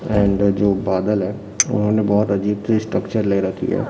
And जो बादल है उन्होंने बहोत अजीब सी स्ट्रक्चर ले रखी है।